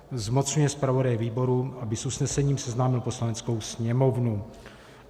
Zmocňuje zpravodaje výboru, aby s usnesením seznámil Poslaneckou sněmovnu.